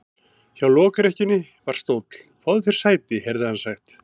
Hjá lokrekkjunni var stóll:-Fáðu þér sæti, heyrði hann sagt.